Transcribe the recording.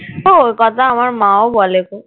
ও, ও কথা আমার মা ও বলে গো